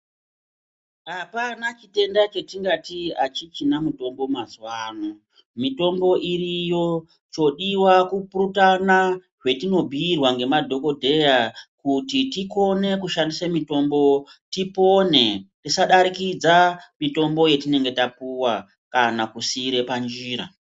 Apana chitenda chetingati achichina mitombo mazuwano mitombo iriyo chodiwa kupurutana zvetinobhiirwa ngemadhokodheya kuti tikone kushadise mitombo tipone tisadarikidza mitombo yetinenge tapiwa kana kusiire panjira.